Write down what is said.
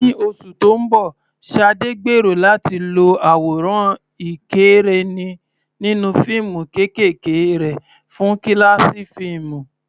Ní oṣù tó ń bọ̀, Sade gbèrò láti lo àwòrán ìkẹ́rẹ́nì nínú fíìmù kéékèèké rẹ̀ fún kíláàsì fíìmù.